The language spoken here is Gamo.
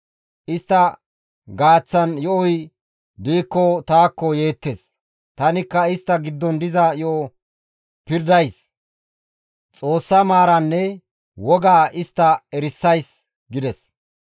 Istta giddon yo7oy diikko taakko yeettes; tanikka istta giddon diza yo7o pirdays; Xoossa maaraanne wogaa istta erisays» gides.